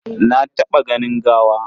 Na taɓa ganin gawa.